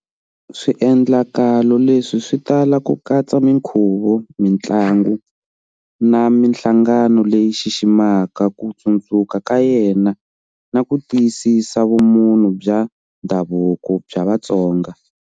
Swiendlakalo leswi swi tala ku katsa minkhuvo, mintlangu, na minhlangano leyi xiximaka ku tsundzuka ka yena na ku tiyisisa vumunhu bya ndhavuko bya Vatsonga.